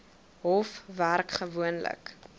hof werk gewoonlik